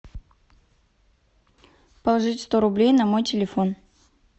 положить сто рублей на мой телефон